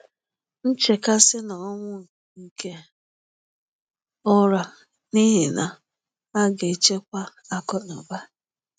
nchekasi na ọnwụ nke ụra n’ihi na a ga-echekwa akụnụba